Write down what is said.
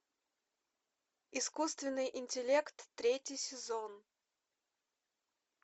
искусственный интеллект третий сезон